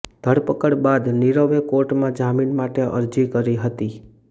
ધરપકડ બાદ નિરવે કોર્ટમાં જામીન માટે અરજી કરી હતી